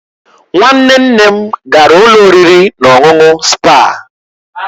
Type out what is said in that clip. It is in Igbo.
Nwanne nne m gara ụlọ oriri na ọṅụṅụ spaa.